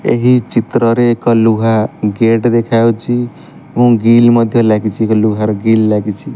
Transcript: ଏହି ଚିତ୍ରରେ ଏକ ଲୁହା ଗେଟ୍ ଦେଖାଯାଉଛି ଏବଂ ଗିଲ୍ ମଧ୍ଯ ଲାଗିଛି ଏକ ଲୁହାର ଗିଲ୍ ଲାଗିଛି।